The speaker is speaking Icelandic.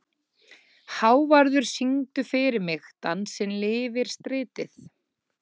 Hávarður, syngdu fyrir mig „Dansinn lifir stritið“.